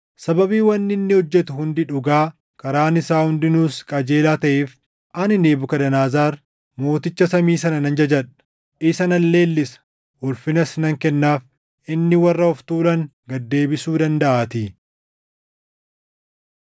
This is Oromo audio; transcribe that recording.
Sababii wanni inni hojjetu hundi dhugaa, karaan isaa hundinuus qajeelaa taʼeef ani Nebukadnezar, Mooticha samii sana nan jajadha; isa nan leellisa; ulfinas nan kennaaf. Inni warra of tuulan gad deebisuu dandaʼaatii.